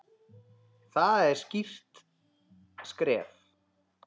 Það er skýrt skref.